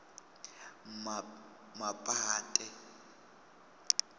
mapate